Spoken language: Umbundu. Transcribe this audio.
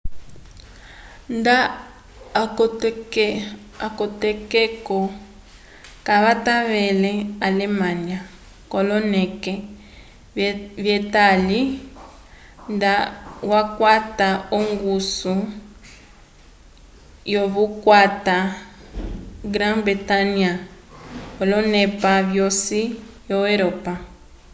nda atokeko kavatẽlele alemanya k'oloneke vyetali nda yakwata ongusu yokukwata grã-bretanya l'onepa yosi yo europa